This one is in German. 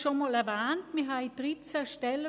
Ich habe es bereits erwähnt: